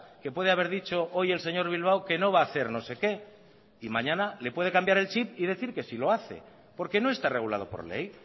que puede haber dicho hoy el señor bilbao que no va a hacer no sé qué y mañana se e puede cambiar el chip y decir que sí lo hace porque no está regulado por ley